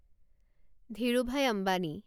Dhirubhai Ambani